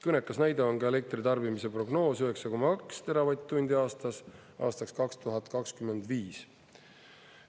Kõnekas näide on ka elektritarbimise prognoos 9,2 teravatt-tundi aastas aastaks 2025.